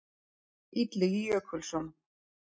Illugi Jökulsson.